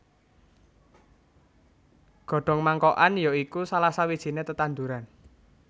Godhong Mangkokan ya iku salah sawijiné tetanduran